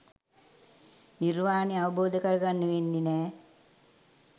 නිර්වාණය අවබෝධ කරගන්න වෙන්නේ නෑ